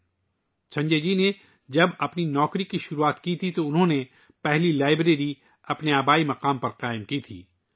جب سنجے جی نے کام کرنا شروع کیا تھا تو انہوں نے اپنے آبائی مقام پر پہلی لائبریری بنوائی تھی